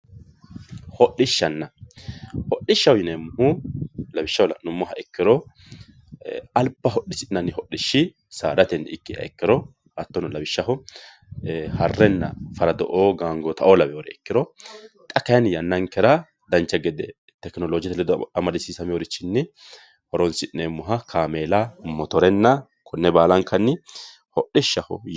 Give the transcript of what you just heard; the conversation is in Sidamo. Hodhishshanna, hodhishshaho yineemmohu lawishshaho la'nuummoha ikkiro alba hodhisi'nanni hodhishi saadateni ikkiha ikkiro hattono lawishshaho Harrenna Faraddo"o ,Gangootta laweyoore ikkiro xa kayiinni yannankera dancha gede tekinoloojete ledo amadisiisamewoore horonsi'neemmoha kaameela ,motorenna konne baalankanni hodhishshaho.